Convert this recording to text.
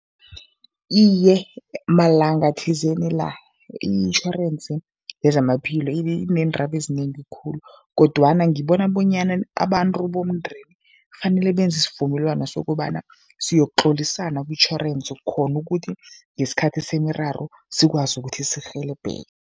Iye, malanga thizeni la itjhorensi yezamaphilo ineendaba ezinengi khulu kodwana ngibona bonyana abantu bomndeni kufanele benze isivumelwano sokobana siyokutlolisana kutjhorensi, khona ukuthi ngesikhathi semiraro sikwazi ukuthi sirhelebheke.